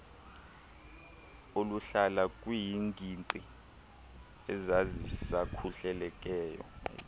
oluhlala kwiingingqi ezazisakuhleleleka